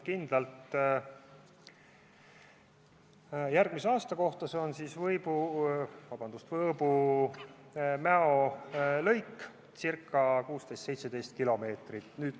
Kindlalt oskan ma vastata järgmise aasta kohta, kui valmib Võõbu–Mäo lõik, ca 16–17 kilomeetrit.